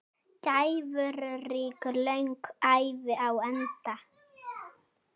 Gæfurík löng ævi á enda.